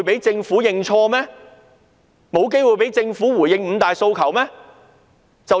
政府沒有機會回應"五大訴求"嗎？